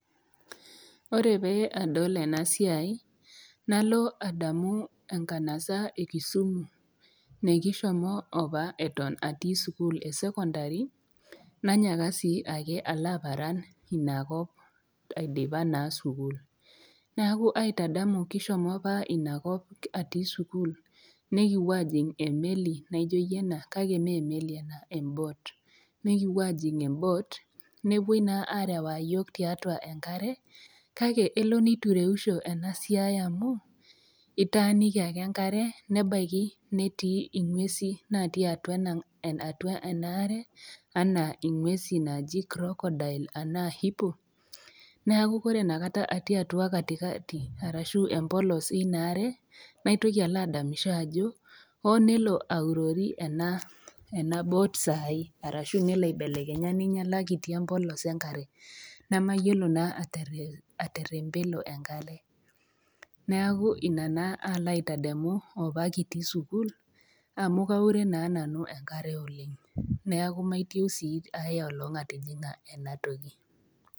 Ore pee adol ena siai Malo adamu enkanasa e Kisumu mekishomo opa eton atii sukuul e sekondari, naanyaka sii ake alo aparan Ina kop sii aidipa sukuul. Neaku aitadamu kishomo opa Ina kop atii sukuul nekipuo ajing' emeli, naijoiye ena, kale mee emeli ena, embot, nekipuo ajing' atua embot nepuoi naa arewaa iyiok tiatua enkare, kake elo neitureusho ena siai amu, itaaniki ake enkare, nebaiki netii inguesi natii atua enaare, anaa inguesi naaji Crocodile anaa hippo, neaku ore Ina kata atii atua katikati arashu empolos eina aare, naitoki alo adamisho ajo, oo nelo aurori ena bot saai arashu nelo aibelekenya neinyala kitii empolos enkare, nemeyiolo naa aterempelo enkare, neaku Ina naa aalo aitademu atii opa sukuul amu aure naa nanu enkare oleng' neaku maitieu sii aiolong' atijing'a ena toki.